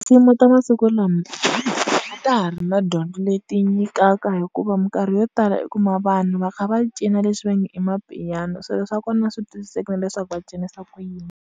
ta masiku lama a ta ha ri na dyondzo leyi ti yi nyikaka hikuva minkarhi yo tala u kuma vanhu va kha va cina leswi va nge i ma-piano swilo swa kona a swi twisiseki na leswaku va cinisa ku yini.